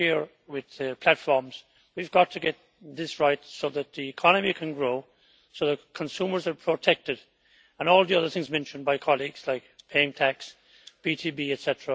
same goes for platforms we have got to get this right so that the economy can grow and so that consumers are protected, and all the other things mentioned by colleagues, like paying tax, B2B, etc.,